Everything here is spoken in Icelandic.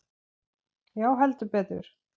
Já, heldur betur.